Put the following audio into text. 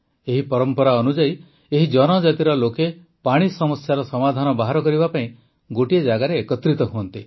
ଏହି ପରମ୍ପରା ଅନୁଯାୟୀ ଏହି ଜନଜାତିର ଲୋକେ ପାଣି ସମସ୍ୟାର ସମାଧାନ ବାହାର କରିବା ପାଇଁ ଗୋଟିଏ ଜାଗାରେ ଏକତ୍ରିତ ହୁଅନ୍ତି